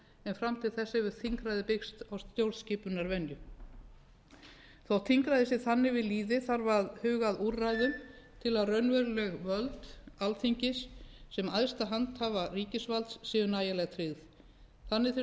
en fram til þessa hefur þingræðið byggst á stjórnskipunarvenju þótt þingræði sé þannig við lýði þarf að huga að úrræðum til að raunveruleg völd alþingis sem æðsta handhafa ríkisvalds séu nægilega tryggð þannig þyrfti að